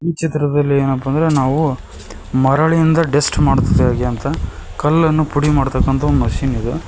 ಚಿತ್ರದಲ್ಲಿ ಏನಪ್ಪಾ ಅಂದ್ರೆ ನಾವು ಮರಳಿಂದ ಡಸ್ಟ್ ಮಾಡುತ್ತಿದೇವೆ ಹೇಗೆ ಅಂತ ಕಲ್ಲನ್ನು ಪುಡಿ ಮಾಡತಕ್ಕಂತ ಒಂದ ಮಷೀನ್ ಅದ.